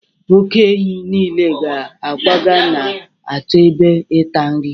oke-ehi nile ga-akwaga na-achọ ebe ịta nri